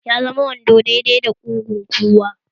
Ya zama wando dai dai da kugun kowa